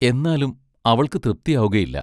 എന്നാലും അവൾക്ക് തൃപ്തിയാവുകയില്ല.